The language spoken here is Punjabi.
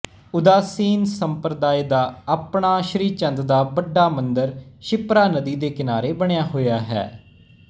ਉਦਾਸੀਨ ਸੰਪਰਦਾਇ ਦਾ ਆਪਣਾ ਸ੍ਰੀਚੰਦ ਦਾ ਵੱਡਾ ਮੰਦਰ ਸ਼ਿਪਰਾ ਨਦੀ ਦੇ ਕਿਨਾਰੇ ਬਣਿਆ ਹੋਇਆ ਹੈ